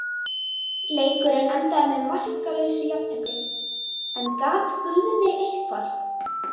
Leikurinn endaði með markalausu jafntefli, en gat Guðni eitthvað?